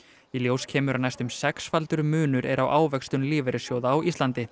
í ljós kemur að næstum sexfaldur munur er á ávöxtun lífeyrissjóða á Íslandi